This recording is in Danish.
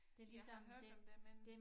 Jeg har hørt om det men